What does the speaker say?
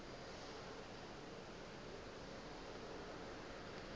ge e sa le a